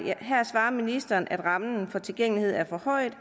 her svarer ministeren at rammen for tilgængelighed er forhøjet og